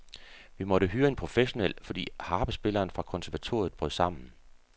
Vi måtte hyre en professionel, fordi harpespilleren fra konservatoriet brød sammen.